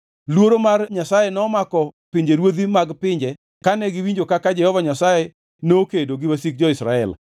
Luoro mar Nyasaye nomako pinjeruodhi mag pinje kane giwinjo kaka Jehova Nyasaye nokedo gi wasik jo-Israel.